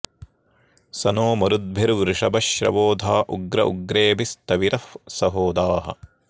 स नो मरुद्भिर्वृषभ श्रवो धा उग्र उग्रेभिः स्थविरः सहोदाः